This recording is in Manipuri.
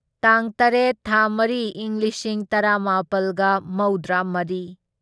ꯇꯥꯡ ꯇꯔꯦꯠ ꯊꯥ ꯃꯔꯤ ꯢꯪ ꯂꯤꯁꯤꯡ ꯇꯔꯥꯃꯥꯄꯜꯒ ꯃꯧꯗ꯭ꯔꯥꯃꯔꯤ